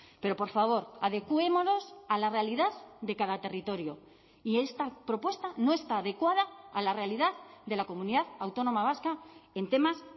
pero por favor adecuémonos a la realidad de cada territorio y esta propuesta no está adecuada a la realidad de la comunidad autónoma vasca en temas